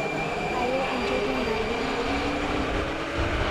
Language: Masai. Ayee enchoto nabo